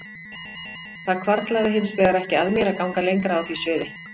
Það hvarflaði hins vegar ekki að mér að ganga lengra á því sviði.